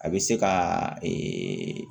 A bɛ se ka ee